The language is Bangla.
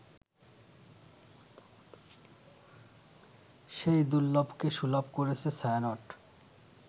সেই দুর্লভকে সুলভ করেছে ছায়ানট